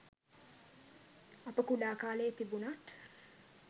අප කුඩා කාලයේ තිබුණත්